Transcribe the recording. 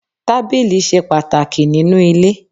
Tábìlì ṣe pàtàkì nínú ilé.